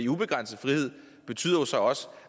ubegrænset frihed betyder jo så også